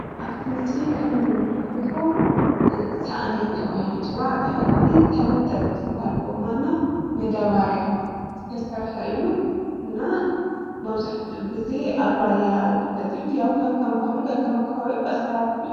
አብቲ ምስሊ ከም እንምልከቶ ሳእኒ ተባሂሉ ይፅዋዕ፡፡ ብታሕቲ ብተመጠጥቲ ጎማ እና መዳበርያ ዝተሰርሐ እዩ፡፡ እና መብዛሕትኡ ግዜ አብ ራያ ይፍለጥ እዩ፡፡ ያው ከከም ባህሉ፣ ከከም ከባቢኡን አሰራርሕኡን...